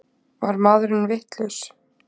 Var maðurinn vitlaus?